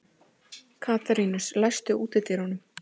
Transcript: Katarínus, læstu útidyrunum.